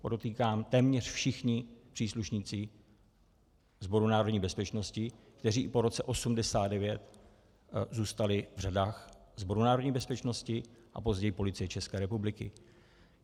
Podotýkám téměř všichni příslušníci Sboru národní bezpečnosti, kteří i po roce 1989 zůstali v řadách Sboru národní bezpečnosti a později Policie České republiky.